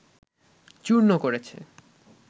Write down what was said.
চূর্ণ করেছে